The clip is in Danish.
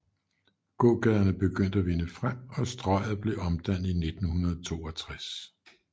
Gågaderne begyndte at vinde frem og Strøget blev omdannet i 1962